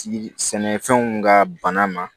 Sɛnɛfɛnw ka bana ma